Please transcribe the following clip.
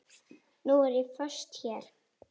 Nú er ég föst hér.